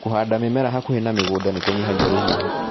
Kũhanda mĩmera hakuhĩ na mĩgũnda nĩ kũnyihagia rũhuho.